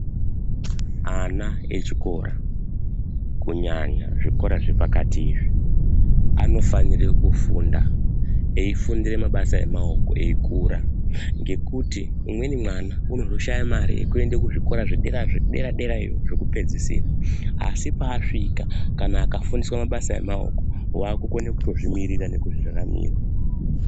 Ana echikora kunyanya zvikora zvepakati izvi anofanire kufunda eifundire mabasa emaoko eikura ngekuti umweni mwana unozodhaya mare yekuende kuzvikora zvedera zvedera derayo zvekupedzisira asi paasvika kana akafundiswa mabasa emaoko wakukone kutozvimiririra nekuzviraramira.